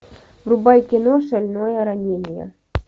врубай кино шальное ранение